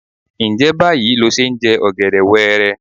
Ǹjẹ́ báyìí lo ṣe ń jẹ ọ̀gẹ̀dẹ̀ wẹẹrẹ?